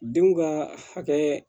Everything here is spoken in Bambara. Denw ka hakɛ